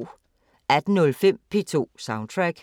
18:05: P2 Soundtrack